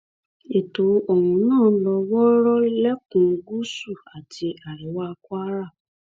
ètò ohun náà ló wọọrọ lẹkùn gúúsù àti àríwá kwara